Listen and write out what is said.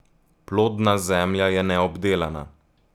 Plodna zemlja je neobdelana.